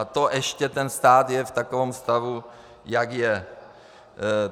A to ještě ten stát je v takovém stavu, jak je.